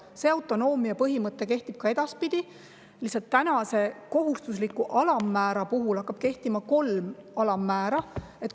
Selline autonoomia põhimõte kehtib ka edaspidi, lihtsalt praeguse kohustusliku alammäära asemel hakkab kehtima kolm alammäära.